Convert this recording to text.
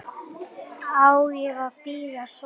Á ég að bíða svars?